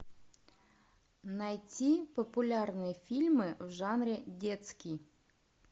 найти популярные фильмы в жанре детский